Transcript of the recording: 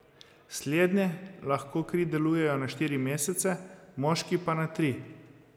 Slednje lahko kri darujejo na štiri mesece, moški pa na tri.